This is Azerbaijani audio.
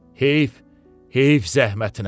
Heyf, heyf zəhmətinə.